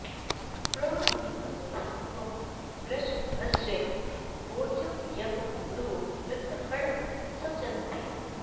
प्र नू म॑हि॒त्वं वृ॑ष॒भस्य॑ वोचं॒ यं पू॒रवो॑ वृत्र॒हणं॒ सच॑न्ते